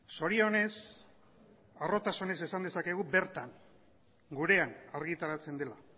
zorionez harrotasunez esan dezakegu bertan gurean argitaratzen dela